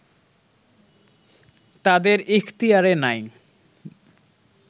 তাদের ইখতিয়ারে নাই